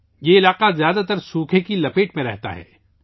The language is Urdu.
یہ علاقہ زیادہ تر خشک سالی کا شکار رہتا ہے